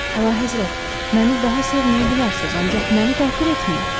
Əlahəzrət, məni daha sevməyə bilərsiz, ancaq məni təhqir etməyin.